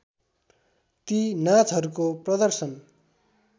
ती नाचहरूको प्रदर्शन